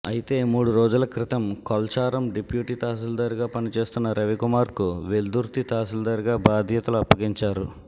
అయితే మూడు రోజుల క్రితం కొల్చారం డిప్యూటి తహసీల్దార్గా పనిచేస్తున్న రవికుమార్కు వెల్దుర్తి తహసీల్దార్గా బాధ్యతలు అప్పగించారు